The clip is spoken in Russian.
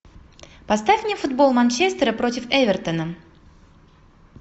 поставь мне футбол манчестера против эвертона